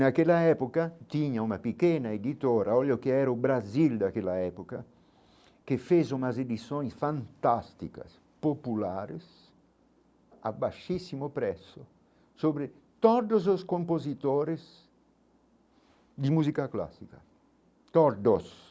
Naquela época, tinha uma pequena editora, olha o que era o Brasil daquela época, que fez umas edições fantásticas, populares, a baixíssimo preço sobre todos os compositores de música clássica, todos.